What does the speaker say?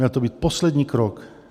Měl to být poslední krok.